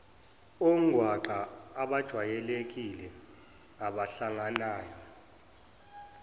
ongwaqa abajwayelekile abahlanganayo